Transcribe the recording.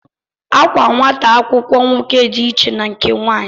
Àkwá nwata akwụkwọ nwoke dị iche na nke nwanyị